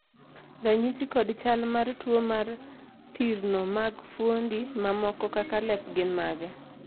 ranyisi kod chal mag tuo mar thirno mag fuondi mamoko kaka lep gin mage?